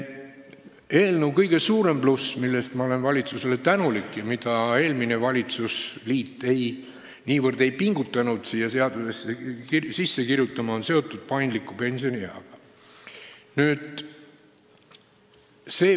Eelnõu kõige suurem pluss, mille eest ma olen valitsusele tänulik ja mida eelmine valitsusliit ei pingutanud siia seadusesse kirjutama, on seotud paindliku pensionieaga.